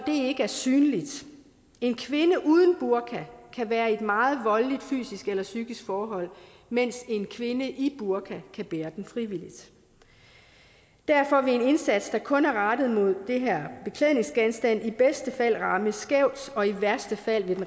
ikke er synlig en kvinde uden en burka kan være i et meget voldeligt fysisk eller psykisk forhold mens en kvinde i burka kan bære den frivilligt derfor vil en indsats der kun er rettet mod de her beklædningsgenstande i bedste fald ramme skævt og i værste fald